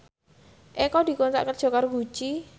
Eko dikontrak kerja karo Gucci